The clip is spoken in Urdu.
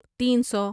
تین سو